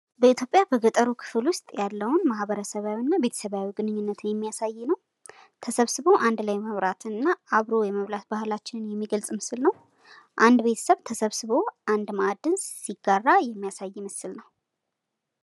በኢትዮጵያ በገጠሩ ክፍል ውስጥ ያለውን ማህበረሰባዋና ቤተሰባዊ ግንኙነትን የሚያሳይ ነው። ተሰብስቦ አንድ ላይ የመብላትን እና አብሮ የመብላት ባህላችንን የሚገልፅ ምስል ነው ። አንድ ቤተሰብ ተሰብስቦ አንድ ማዕድን ሲጋራ የሚያሳይ ምስል ነው።